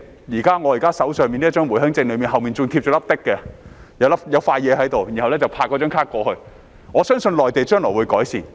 現在我手上的回鄉證背面便貼有一小片東西，可以拍卡過關，我相信內地將來會改善。